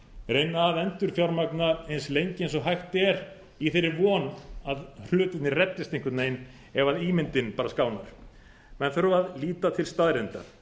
reyna að endurfjármagna eins lengi og hægt er í þeirri von að hlutirnir reddist einhvern veginn ef ímyndin bara skánar menn þurfa að líta til staðreynda